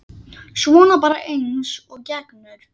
Svona bara eins og gengur.